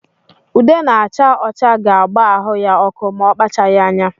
Ude na-acha ọcha ga-agba ahụ ya ọkụ ma ọ kpachaghi anya.